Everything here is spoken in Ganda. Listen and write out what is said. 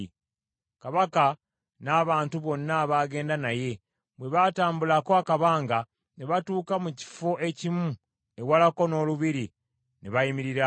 Kabaka n’abantu bonna abaagenda naye, bwe baatambulako akabanga, ne batuuka mu kifo ekimu ewalako n’olubiri ne bayimirira awo.